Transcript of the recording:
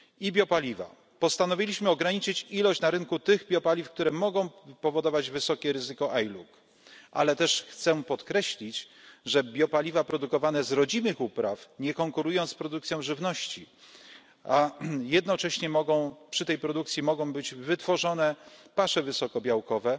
Biopaliwa postanowiliśmy ograniczyć ilość na rynku tych biopaliw, które mogą powodować wysokie ryzyko ILUC, ale też chcę podkreślić, że biopaliwa produkowane z rodzimych upraw nie konkurują z produkcją żywności, a jednocześnie przy tej produkcji mogą być wytworzone pasze wysokobiałkowe,